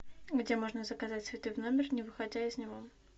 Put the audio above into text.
где можно заказать цветы в номер не выходя из него